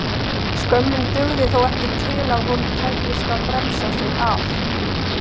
Skömmin dugði þó ekki til að honum tækist að bremsa sig af.